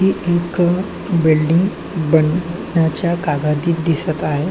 ही एक बिल्डिंग बनवण्याच्या कागादीत दिसत आहे.